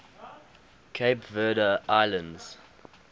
cape verde islands